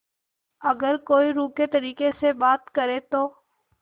अगर कोई रूखे तरीके से बात करे तो